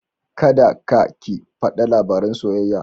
Kada ka/ki fada labaran soyayya.